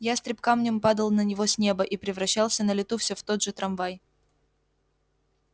ястреб камнем падал на него с неба и превращался на лету все в тот же трамвай